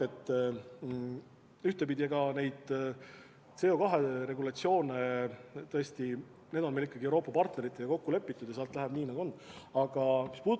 –, siis jah, ühtepidi need CO2 regulatsioonid on meil ikkagi Euroopa partneritega kokku lepitud ja läheb nii, nagu on kokku lepitud.